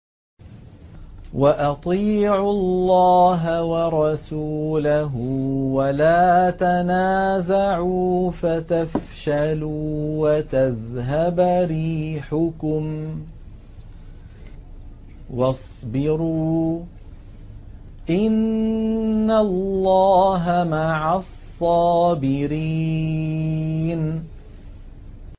وَأَطِيعُوا اللَّهَ وَرَسُولَهُ وَلَا تَنَازَعُوا فَتَفْشَلُوا وَتَذْهَبَ رِيحُكُمْ ۖ وَاصْبِرُوا ۚ إِنَّ اللَّهَ مَعَ الصَّابِرِينَ